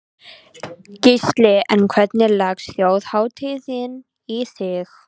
Gísli: En hvernig leggst Þjóðhátíðin í þig?